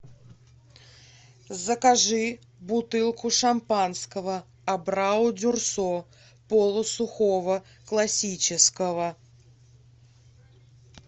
закажи бутылку шампанского абрау дюрсо полусухого классического